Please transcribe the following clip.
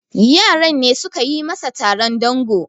yaran ne suka yi masa Taron dango